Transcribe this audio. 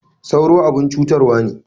Sauro abun cutarwa ne.